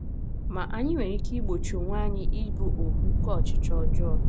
Ma, anyị nwere ike igbochi onwe anyị ịbụ ohu nke ọchịchọ ọjọọ.